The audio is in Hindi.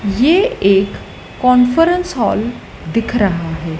ये एक कॉन्फरन्स हॉल दिख रहा है।